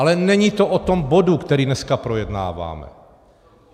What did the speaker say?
Ale není to o tom bodu, který dneska projednáváme.